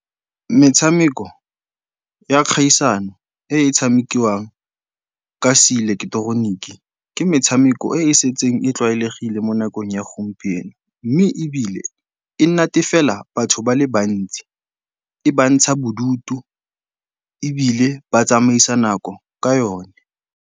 Metshameko ya kgaisano e e tshamekiwang ka seileketoroniki ke metshameko e e setseng e tlwaelegile mo nakong ya gompieno mme ebile e natefela batho ba le bantsi, e bantsha bodutu ebile ba tsamaisa nako ka yone.